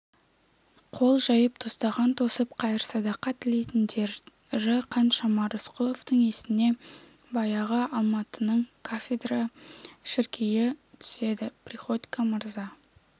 қол жайып тостаған тосып қайыр-садақа тілейтіндері қаншама рысқұловтың есіне баяғы алматының кафедрал шіркеі түседі приходько мырза